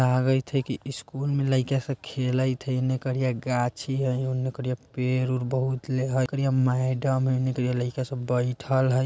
लगायित हई की स्कूल मे लईका सा खेलइत हई येने करिया गाछी हई ओनेकरिया पेड़ उड़ बहुत ले हई ओनकरिया मैडम हई येने करिया लईका सब बईठल हई।